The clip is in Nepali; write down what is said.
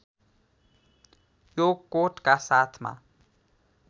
यो कोटका साथमा